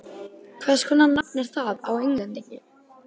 Hvers konar nafn er það á Englendingi?